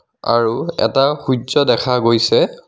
আৰু এটা সূৰ্য্য দেখা গৈছে.